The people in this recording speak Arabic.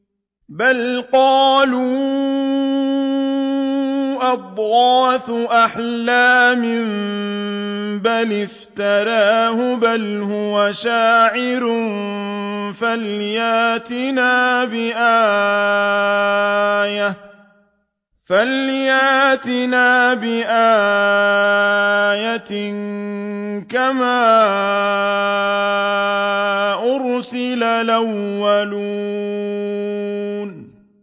بَلْ قَالُوا أَضْغَاثُ أَحْلَامٍ بَلِ افْتَرَاهُ بَلْ هُوَ شَاعِرٌ فَلْيَأْتِنَا بِآيَةٍ كَمَا أُرْسِلَ الْأَوَّلُونَ